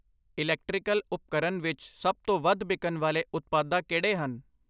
Electrical ਉਪਕਰਨ ਵਿੱਚ ਸੱਭ ਤੋਂ ਵੱਧ ਬਿਕਨ ਵਾਲੇ ਉਤਪਾਦਾ ਕਿਹੜੇ ਹਨ ?